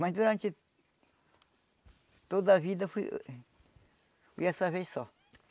Mas durante toda a vida foi foi essa vez só.